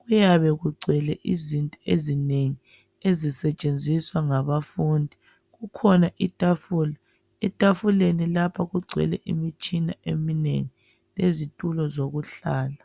kuyabe kugcwele izinto ezinengi ezisetshenziswa ngabafundi kukhona itafula etafuleni lapho kugcwele imitshina eminengi lezitulo zokuhlala.